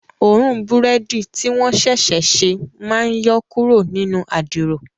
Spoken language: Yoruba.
Òórùn búrẹ́dì tí wọ́n ṣẹ̀ṣẹ̀ ṣe máa ń yọ kúrò nínú adiro